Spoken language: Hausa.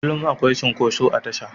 Kullum akwai cunkoso a tasha